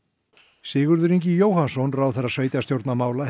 Sigurður Ingi Jóhannsson sveitarstjórnarráðherra